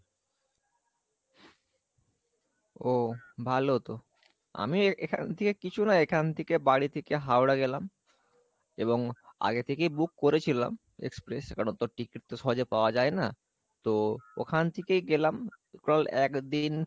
ও ভালো তো আমি এখান থেকে কিছু না, এখান থেকে বাড়ি থেকে হাওড়া গেলাম এবং আগে থেকে book করেছিলাম express কারন তো ticket তো সহজে পাওয়া যাই না, তো ওখান থেকে গেলাম একদিন